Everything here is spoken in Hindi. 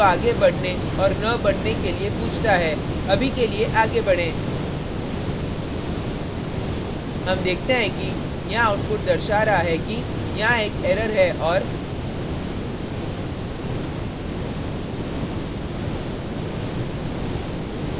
अभी के लिए आगे बढें हम देखते हैं कि यहाँ output दर्शा रहा है कि यहाँ एक error है और